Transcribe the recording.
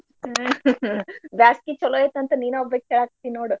ಬ್ಯಾಸ್ಗಿ ಚೊಲೋ ಐತಂತ್ ನೀನ ಒಬ್ಬಕಿ ಹೇಳಾಕತ್ತೀ ನೋಡ್.